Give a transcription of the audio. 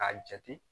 K'a jate